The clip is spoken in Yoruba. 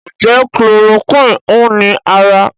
Njé Chloroquine hùn ní ára?